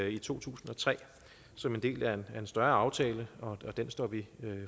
i to tusind og tre som en del af en større aftale og den står vi